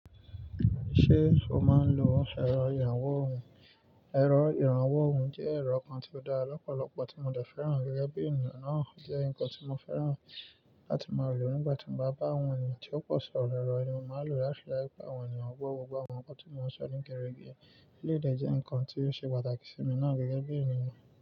Ṣé o máa ń lo ẹ̀rọ ìrànwọ́ ohùn? Ẹ̀rọ ìrànwọ́ ohùn jẹ́ ẹ̀rọ kan tí ó dára lọ́pọ̀lọpọ̀ tí mo dẹ̀ fẹ́ràn gẹ́gẹ́ bí ènìyàn náà. Ó jẹ́ nǹkan tí mo fẹ́ràn láti máa lò nígbà tí mo bá bá àwọn ènìyàn tí ó pọ̀ sọ̀rọ̀. Ẹ̀rọ yìí mo máa ń lò láti ri daju pé àwọn ènìyàn gbó gbogbo àwọn nǹkan tí mo ń sọ ní gerege. Eleyi dẹ jẹ́ nǹkan tí ó ṣe pàtàkì sí mi náà gẹ́gẹ́ bí ènìyàn.